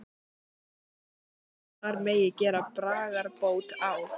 Má vera að þar megi gera bragarbót á?